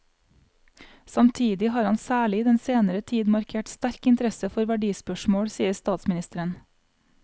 Samtidig har han særlig i den senere tid markert sterk interesse for verdispørsmål, sier statsministeren.